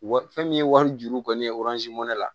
Wa fɛn min ye wari juru kɔni ye mɛnɛ la